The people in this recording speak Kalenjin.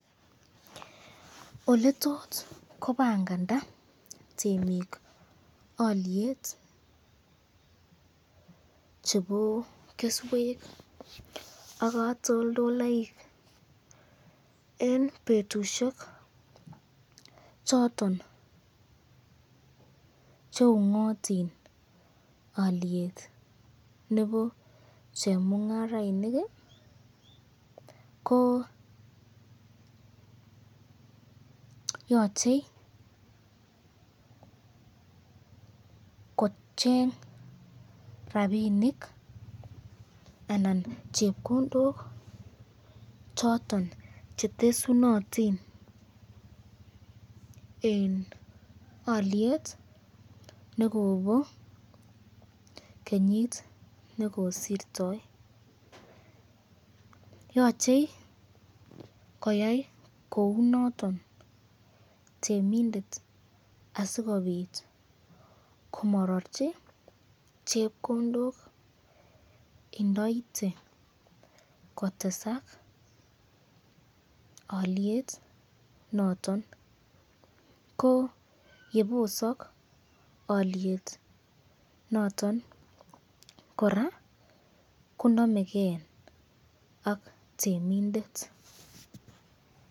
Oletoe kobanganda temik olyet che keswek ak katoldoloik eng betushek choton cheungotin olyet nebo chemungarainik ko yochekocheng rapinik anan chepkondok choton chetesunotin eng olyet nekobo kenyit nekosirtoi ,yoche koyai kou noton temindet asikobit komararchi chepkondok indoite kotesak olyet noton, ko yebisak olyet noton koraa konamekenak temindet.